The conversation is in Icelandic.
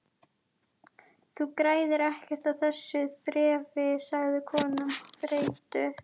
Þú græðir ekkert á þessu þrefi sagði konan þreytu